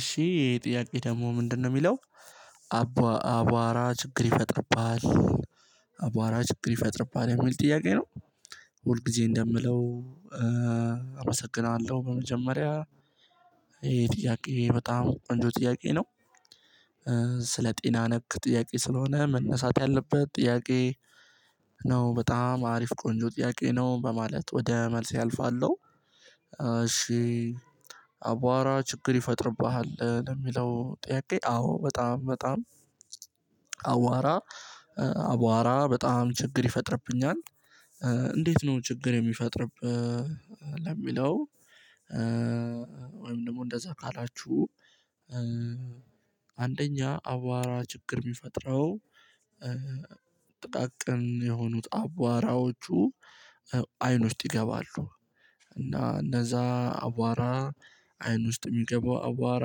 እሺ ጥያቄ ደግሞ ምንድነው የሚለው? አቧራ ችግር ይፈጥርብሃል። አቧራ ችግር ይፈጥርባል የሚል ጥያቄ ነው። ሁል ጊዜ እንደምለው። አመሰግናለሁ በመጀመሪያ ይሄ ጥያቄ በጣም ቆንጆ ጥያቄ ነው። ስለ ጤና ነክ ጥያቄ ስለሆነ መነሳት ያለበት ጥያቄ። ነው በጣም አሪፍ ቆንጆ ጥያቄ ነው በማለት ወደ መልስ አልፋለሁ። እሺ። አቧራ ችግር ይፈጥርብሃል የሚለው ጥያቄ አዎ በጣም በጣም አቧራ አቧራ በጣም ችግር ይፈጥርብኛል። እንዴት ነው ችግር የሚፈጥርብህ? ለሚለው ወይም ደግሞ እንደዛ ካላችሁ። አንደኛ አቧራ ችግር የሚፈጥረው ጥቃቅን የሆኑት አቧራዎቹ አይን ውስጥ ይገባሉ። እና እነዛ አቧራ አይን ውስጥ የሚገባው አቧራ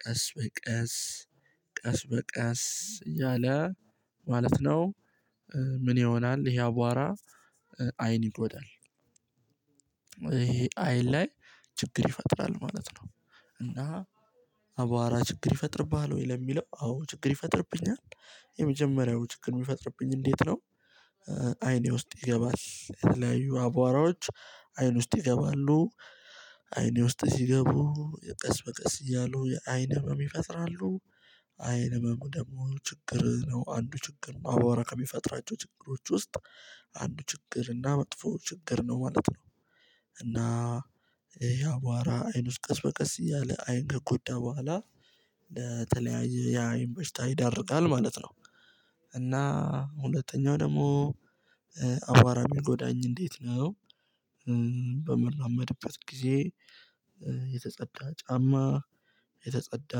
ቀስ በቀስ ቀስ በቀስ እያለ ማለት ነው። ምን ይሆናል? ይሄ አቧራ አይን ይጎዳል ይሄ። አይን ላይ ችግር ይፈጥራል ማለት ነው። እና አቧራ ችግር ይፈጥርብሃል ወይ ለሚለው አዎ ችግር ይፈጥርብኛል። የመጀመሪያው ችግር የሚፈጥርብኝ እንዴት ነው? አይኔ ውስጥ ይገባል የተለያዩ አቧራዎች አይን ውስጥ ይገባሉ። አይኔ ውስጥ ሲገቡ ቀስ በቀስ እያሉ የአይን ህመም ይፈጥራሉ። አይን ህመሙ ደግሞ ችግር ነው አንዱ ችግር አቧራ ከሚፈጥራቸው ችግሮች ውስጥ አንዱ ችግር እና መጥፎ ችግር ነው ማለት ነው። እና አቧራ አይን ውስጥ ቀስ በቀስ እያለ አይን ከጎዳ በኋላ ለተለያየ ለአይን በሽታ ይዳርጋል ማለት ነው። እና ሁለተኛው ደግሞ አቧራ እሚጎዳኝ እንዴት ነው? በመላመድበት ጊዜ የተጸዳ ጫማ የተጸዳ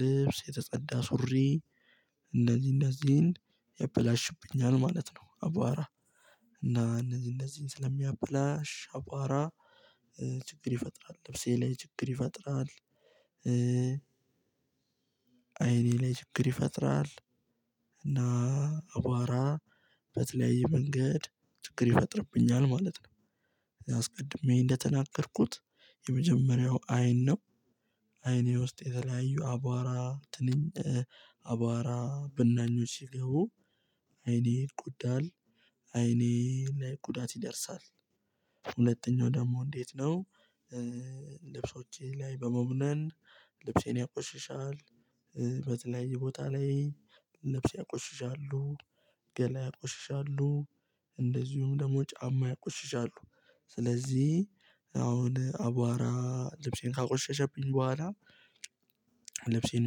ልብስ የተጸዳ ሱሪ እንደዚህ እንደዚህ ያበላሽብኛል ማለት ነው። አቧራ እና እነዚህ እነዚህን ስለሚያበላሽ አቧራ ችግር ይፈጥራል ልብሴ ላይ ችግር ይፈጥራል። አይኔ ላይ ችግር ይፈጥራል። እና አቧራ በተለያየ መንገድ ችግር ይፈጥርብኛል ማለት ነው። አስቀድሜ እንደተናገርኩት የመጀመሪያው አይን ነው። አይኔ ውስጥ የተለያዩ አቧራ ትንንት አቧራ ብናኞች ሲገቡ አይኔ ይጎዳል። አይኔ ላይ ጉዳት ይደርሳል። ሁለተኛው ደግሞ እንዴት ነው? ልብሶቼ ላይ በመሆን ልብሴን ያቆሽሻል። በተለይ ቦታ ላይ ልብስ ያቆሽሻሉ ገላ ያቆሽሻሉ እንደዚሁም ደግሞ ጫማ ያቆሽሻሉ ስለዚህ አሁን አቧራ ልብሴን ካቆሸሸብኝ በኋላ ልብሴን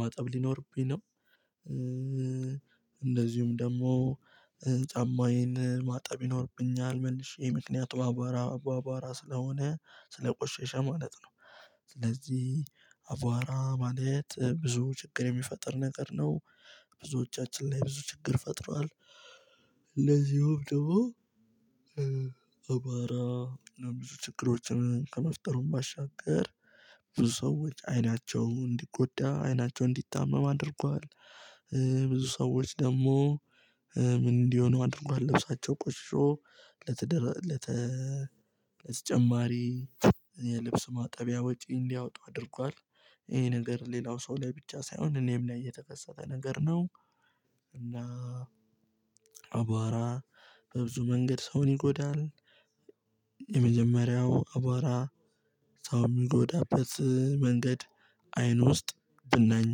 ማጠብ ሊኖርብኝ ነው። እንደዚሁም ደግሞ ጫማዬን ማጠብ ይኖርብኛል መልሼ ምክንያቱ አባባራ አቧራ ስለሆነ ስለቆሸሸ ማለት ነው። ስለዚህ አቧራ ማለት ብዙ ችግር የሚፈጥር ነገር ነው። ብዙዎቻችን ላይ ብዙ ችግር ፈጥሯል። ለዚሁም ደግሞ አባራ ብዙ ችግሮችን ከመፍጠሩ ባሻገር ብዙ ሰዎች አይናቸው እንዲጎዳ አይናቸው እንዲታመም አድርጓል። ብዙ ሰዎች ደግሞ ምን እንዲሆን አድርጓል ልብሳቸው ቆሽሾ ለተደራ ለተ ለተጨማሪ የልብስ ማጠቢያ ወጪ እንዲያወጡ አድርጓል። ይሄ ነገር ሌላው ሰው ላይ ብቻ ሳይሆን እኔም ላይ የተከሰተ ነገር ነው። እና አቧራ በብዙ መንገድ ሰውን ይጎዳል። የመጀመሪያው አቧራ ሰው የሚጎዳበት መንገድ አይን ውስጥ ብናኝ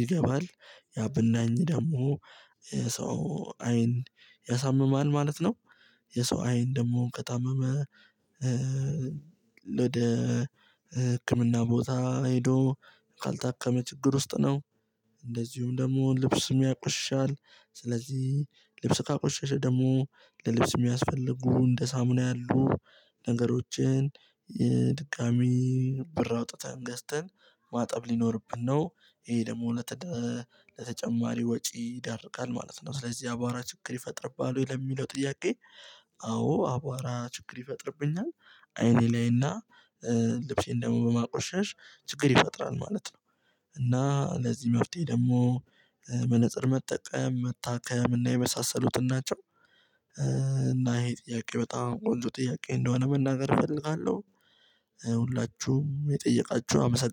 ይገባል ያ ብናኝ ደግሞ ሰው አይን ያሳምማል ማለት ነው። የሰው አይን ደግሞ ከታመመ። ወደ ህክምና ቦታ ሄዶ ካልታከመ ችግር ውስጥ ነው። እንደዚሁም ደግሞ ልብስ ያቆሽሻል። ስለዚህ ልብስ ካቆሸሸ ደግሞ ለልብስ የሚያስፈልጉ እንደ ሳሙና ያሉ ነገሮችን የድቃሚ ብር አውጥተን ገዝተን ማጠብ ሊኖርብን ነው። ይሄ ደግሞ አጠቃላይ ለተጨማሪ ወጪ ይዳርጋል ማለት ነው። ስለዚህ አቧራ ችግር ይፈጥርብኛል ለሚለው ጥያቄ? አዎ አቧራ ችግር ይፈጥርብኛል። አይኔ ላይና ልብሴን ደግሞ በማቆሸሽ ችግር ይፈጥራል ማለት ነው። እና ለዚህ መፍትሄ ደግሞ መጽጠር መጠቀም መታከም እና የመሳሰሉትን ናቸው። እና ይሄ ጥያቄ በጣም ቆንጆ ጥያቄ እንደሆነ መናገር እፈልጋለሁ። ሁላችሁም የጠየቃችሁ አመሰግናለሁ